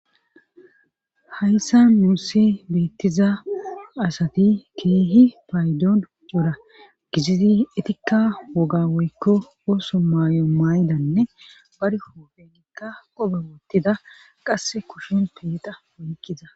hayssan nuuse beettiza asati keehi paydon bora gizizi etikka woga woykko ooso maayo maaydanne barhofenikka qobe woottida qase kushin peeta woykkiza